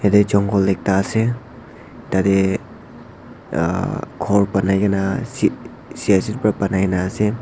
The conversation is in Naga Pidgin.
ede jongol ekta ase tade uh ghor banai gina s shiasheet para banai gina ase.